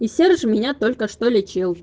и серж меня только что лечил